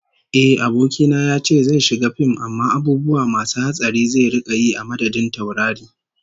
Ehh, abokina yace zai shiga fim amma abubuwa masu hatsari zai rika yi a madadin taurari